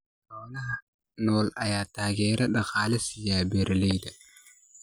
Xoolaha nool ayaa taageero dhaqaale siiya beeralayda.